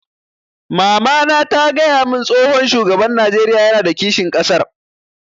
Mamana ta gaya mun tsohon shugaban Najeriya yana da kishin ƙasar